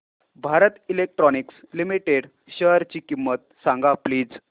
Bharat electronics limited शेअरची किंमत सांगा प्लीज